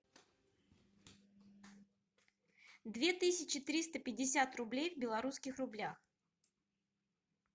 две тысячи триста пятьдесят рублей в белорусских рублях